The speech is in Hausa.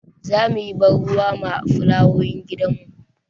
Za mu yi ban ruwa ma fulawowin gidanmu.